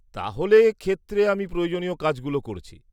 তাহলে, ক্ষেত্রে আমি প্রয়োজনীয় কাজগুলো করছি।